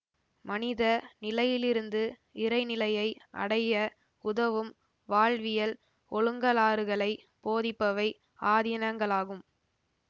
மனித நிலையிலிருந்து இறைநிலையை அடைய உதவும் வாழ்வியல் ஒழுங்கலாறுகளைப் போதிப்பவை ஆதீனங்களாகும்